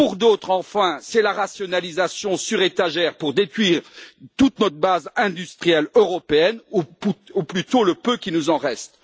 Pour d'autres encore, c'est la rationalisation sur étagères pour détruire toute notre base industrielle européenne ou plutôt le peu qu'il nous en reste.